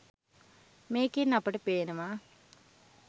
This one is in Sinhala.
මේකෙන් අපට පේනවා